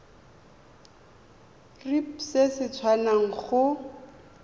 irp se se tswang go